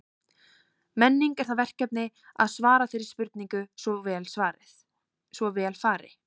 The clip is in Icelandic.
Menning er það verkefni að svara þeirri spurningu svo vel fari.